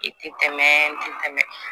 I ti tɛmɛ n ti tɛmɛ